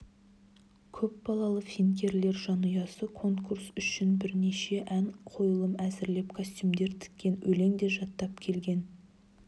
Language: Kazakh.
көпбалалы финкелер жанұясы конкурс үшін бірнеше ән қойылым әзірлеп костюмдер тіккен өлең де жаттап келген